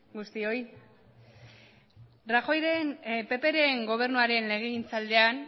guztioi rajoyren ppren gobernuaren legegintzaldian